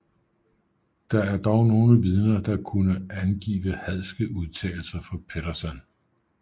Der er dog nogle vidner der kunne angive hadske udtalelser fra Pettersson